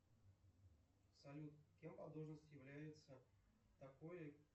салют кем по должность является такое